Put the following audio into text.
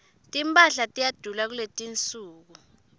timphahla tiyadula kuletinsuku